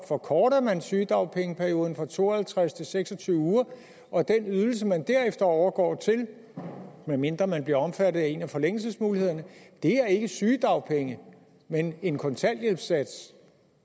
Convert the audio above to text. forkortes sygedagpengeperioden fra to og halvtreds til seks og tyve uger og den ydelse man derefter overgår til medmindre man bliver omfattet af en af forlængelsesmulighederne er ikke sygedagpenge men en kontanthjælpssats